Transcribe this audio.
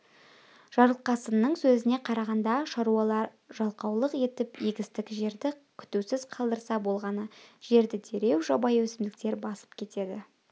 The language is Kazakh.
жарылқасынның сөзіне қарағанда шаруалар жалқаулық етіп егістік жерді күтусіз қалдырса болғаны жерді дереу жабайы өсімдіктер басып кетеді